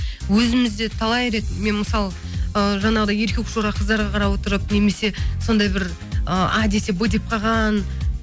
өзіміз де талай рет мен мысалы ы жаңағыдай еркекшора қыздарға қарап отырып немесе сондай бір ы а десе б деп қалған